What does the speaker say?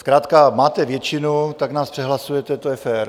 Zkrátka máte většinu, tak nás přehlasujete, to je fér.